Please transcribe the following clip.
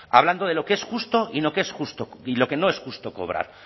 hablando de lo que es justo y lo que no es justo cobrar